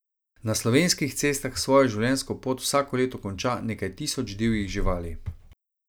Na slovenskih cestah svojo življenjsko pot vsako leto konča nekaj tisoč divjih živali.